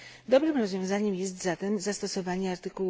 Dobrym rozwiązaniem jest zatem zastosowanie art.